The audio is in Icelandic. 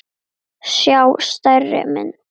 sjá stærri mynd.